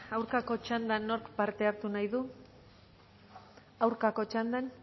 aurkako txandan nork parte hartu nahi du aurkako txandan